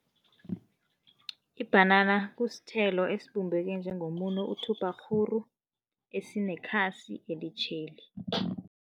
Ibhanana kusithelo esibumbeke njengomuno uthubhakghuru, esinekhasi elitjheli.